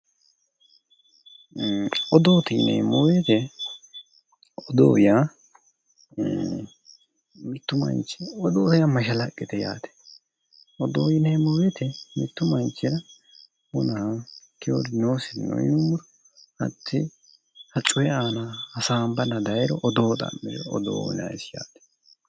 Odoote yineemmo woyte odoo yaa mitu manchi odoo yaa mashalaqqete yaate, odoo yineemmo woyte mitu manchira wona noosiri nooro hatti coyi aana hasaanbanna daayiro odoo xa'me odoo uyinannisi yaate